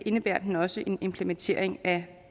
indebærer den også en implementering af